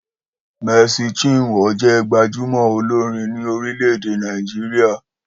Marcy chinwo jẹ́ gbajúmò olórin ni orílẹ̀-èdè Nàìjíríà